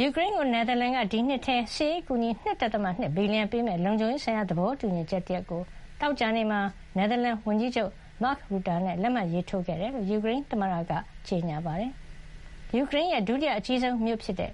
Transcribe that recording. ယူကရိန်းကို နယ်သာလန်က ဒီနှစ်ထဲ စစ်ရေးအကူအညီ ၂.၂ ဘီလီယံပေးမယ့် လုံခြုံရေးဆိုင်ရာ သဘောတူညီချက်တရပ်ကို သောကြာနေ့မှာ နယ်သာလန်ဝန်ကြီးချုပ် Mark Rutte နဲ့ လက်မှတ်ရေးထိုးခဲ့တယ်လို့ ယူကရိန်းသမ္မတ Volodymyr Zelenskyy က ကြေညာပါတယ်။ ယူကရိန်းရဲ့ ဒုတိယ အကြီးဆုံးမြို့ဖြစ်တဲ့